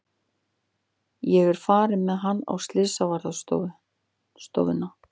Ég er farin með hann á slysavarðstofuna.